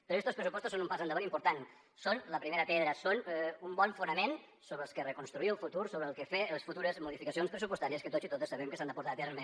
però estos pressupostos són un pas endavant important són la primera pedra són un bon fonament sobre el que reconstruir el futur sobre el que fer les futures modificacions pressupostàries que tots i totes sabem que s’han de portar a terme